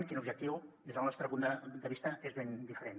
quin objectiu des del nostre punt de vista és ben diferent